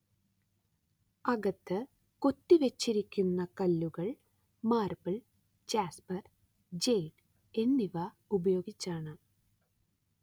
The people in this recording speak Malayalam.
അകത്ത് കൊത്തി വച്ചിരിക്കുന്ന കല്ലുകൾ മാർബിൾ ജാസ്പർ ജേഡ് എന്നിവ ഉപയോഗിച്ചാണ്